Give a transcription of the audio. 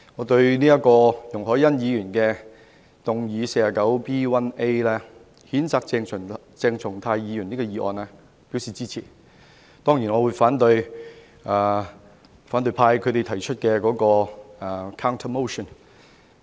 對於容海恩議員根據《議事規則》第 49B 條動議譴責鄭松泰議員的議案，我表示支持。當然，我會反對由反對派提出的 counter motion。